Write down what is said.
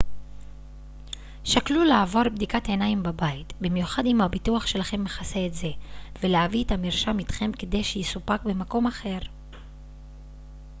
שקלו לעבור בדיקת עיניים בבית במיוחד אם הביטוח שלכם מכסה את זה ולהביא את המרשם איתכם כדי שיסופק במקום אחר